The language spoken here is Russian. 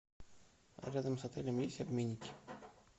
рядом с отелем есть обменники